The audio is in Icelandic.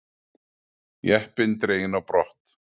Jeppi dreginn á brott